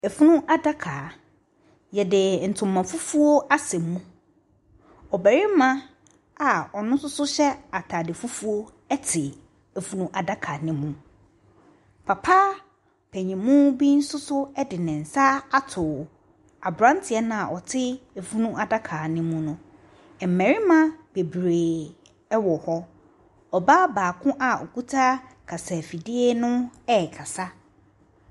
Ɛfunu adaka. Yɛde ntoma fufuo asɛ mu. Ɔbarima a ɔno nso hyɛ ataade fufuo ɛte ɛfunu adaka no mu. Papa panin mu bi nso so de ne nsa ato abranteɛ no a ɔte ɛfunu adaka no mu no. Mmarima beberee ɛwɔ hɔ. Ɔbaa baako a ɔkuta kasafidie no ɛrekasa.